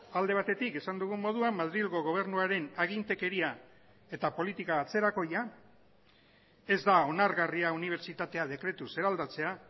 alde batetik esan dugun moduan madrilgo gobernuaren agintekeria eta politika atzerakoia ez da onargarria unibertsitatea dekretuz eraldatzea